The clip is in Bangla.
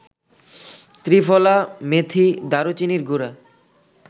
ত্রিফলা, মেথী, দারুচিনির গুড়া